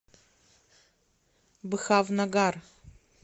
бхавнагар